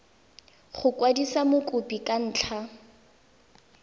go kwadisa mokopi ka ntlha